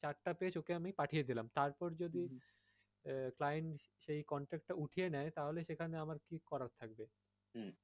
page okay আমি পাঁঠিয়ে দিলাম আহ client সেই contract টা উঠিয়ে নেয় তাহলে সেখানে আমার কী করার থাকবে?